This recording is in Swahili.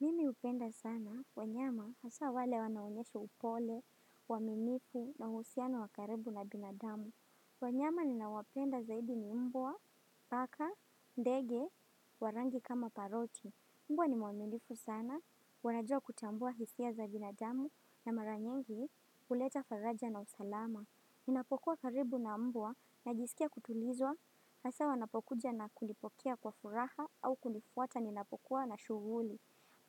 Mimi hupenda sana, wanyama, hasa wale wanaoonyesha upole, waaminifu na uhusiano wa karibu na binadamu. Wanyama ninao wapenda zaidi ni mbwa, paka, ndege, wa rangi kama paroti. Mbwa ni mwaminifu sana, wanajua kutambua hisia za binadamu na mara nyingi huleta faraja na usalama. Ninapokuwa karibu na mbwa, najisikia kutulizwa, hasa wanapokuja na kunipokea kwa furaha au kunifuata ninapokuwa na shughuli.